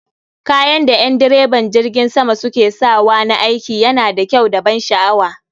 Kayan da en direban jirgin sama suke sawa na aiki yana da kyau da ban sha'awa